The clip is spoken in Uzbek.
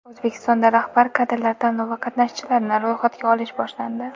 O‘zbekistonda rahbar kadrlar tanlovi qatnashchilarini ro‘yxatga olish boshlandi.